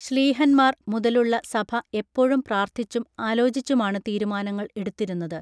ശ്ലീഹന്മാർ മുതലുള്ള സഭ എപ്പോഴും പ്രാർഥിച്ചും ആലോചിച്ചുമാണു തീരുമാനങ്ങൾ എടുത്തിരുന്നത്